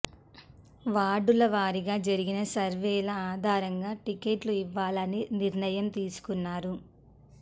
వార్డుల వారీగా జరిగిన సర్వేల ఆధారంగా టికెట్లు ఇవ్వాలని నిర్ణయం తీసుకున్నారు